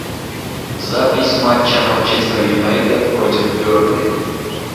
запись матча манчестер юнайтед против бернли